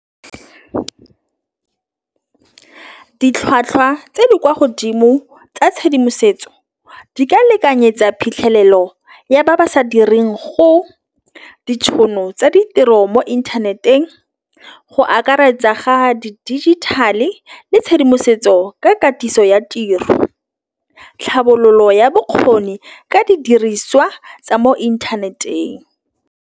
Ditlhwatlhwa tse di kwa godimo tsa tshedimosetso di ka lekanyetse tsa phitlhelelo ya ba ba sa direng go ditšhono tsa ditiro mo internet-eng. Go akaretsa ga di digital-e le tšhedimosetso ka katiso ya tiro. Tlhabololo ya bokgoni ka didiriswa tsa mo internet-eng.